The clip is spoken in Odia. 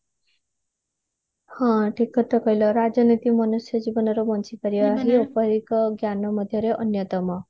ହଁ ଠିକ କଥା କହିଲ ରାଜନୀତି ମନୁଷ୍ୟ ଜୀବନର ବଞ୍ଚି ପାରିବା ଏପରି ଏକ ଜ୍ଞାନ ମଧ୍ୟରେ ଅନ୍ଯତମ